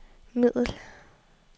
middel